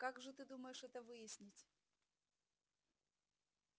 как же ты думаешь это выяснить